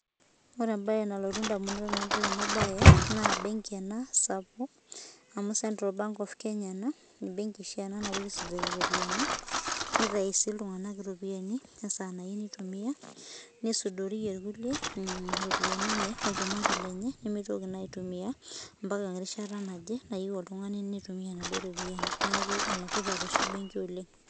Ore embae nalotu edamunot tenadol ena mbae naa benki ena sapuk amu central bank of Kenya ena benki oshi ena napuoi aisudorie eropiani nitayu sii iltung'ana eropiani esaa nayieu nitumia nisudorie naa kulie eropiani enye olchumati lenye nimitoki naa aitumia